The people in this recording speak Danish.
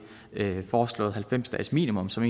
foreslåede halvfems dagesminimum som